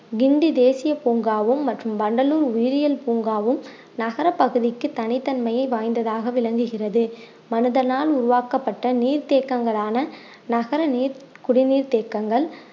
கிண்டி தேசிய பூங்காவும் மற்றும் வண்டலூர் உயிரியல் பூங்காவும் நகரப் பகுதிக்கு தனித்தன்மையை வாய்ந்ததாக விளங்குகிறது மனிதனால் உருவாக்கப்பட்ட நீர் தேக்கங்களான நகர நீர் குடிநீர் தேக்கங்கள்